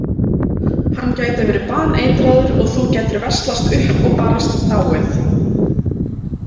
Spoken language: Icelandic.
Hann gæti verið baneitraður og þú gætir veslast upp og barasta dáið